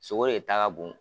Sogo de ta ka bon